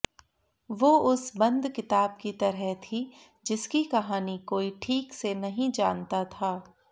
वो उस बंद किताब की तरह थी जिसकी कहानी कोई ठीक से नहीं जानता था